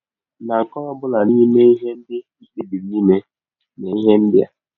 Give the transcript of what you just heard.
Na nke ọ bụla n’ime ihe ndị i kpebiri ime, mee ihe ndị a: